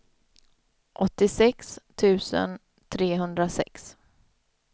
åttiosex tusen trehundrasex